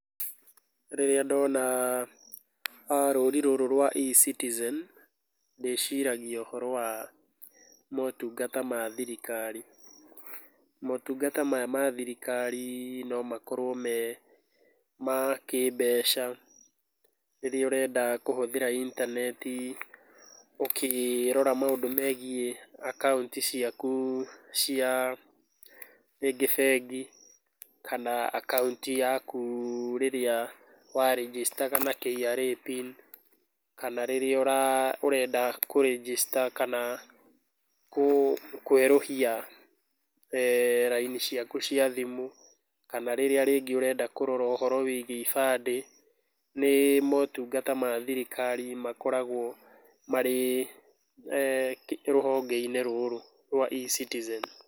Rĩrĩa ndona rũri rũrũ rwa eCitizen ndĩciragia ũhoro wa motungata ma thirikari. Motungata maya ma thirikari no makorwo me kĩmbeca, rĩrĩa ũrenda kũhũthĩra intaneti ũkĩrora maũndũ megiĩ akaunti ciaku cia rĩngĩ bengi kana akaunti yaku rĩrĩa wa register na KRA Pin rĩrĩa ũrenda kũ register kana kũerũhia raini ciaku cia thimũ, kana rĩrĩa rĩngĩ ũrenda kũrora ũhoro wĩgiĩ ibande, nĩ motungata ma thirikari makoragwo marĩ rũhonge-inĩ rũrũ rwa eCitizen.